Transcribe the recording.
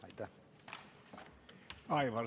Aitäh!